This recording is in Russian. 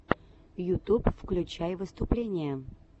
ютуб включай выступления